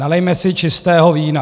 Nalijme si čistého vína.